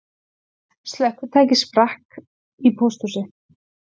Slökkvitæki sprakk í pósthúsi